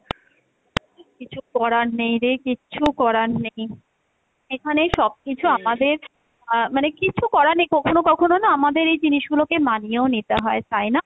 কিছু করার নেই রে, কিচ্ছু করার নেই, এখানে সবকিছু আমাদের আহ মানে কিছু করার নেই কখনো কখনো না আমাদের এই জিনিসগুলোকে মানিয়েও নিতে হয়, তাই না?